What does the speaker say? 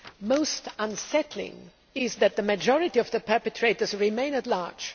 Most unsettling is that the majority of the perpetrators remain at large.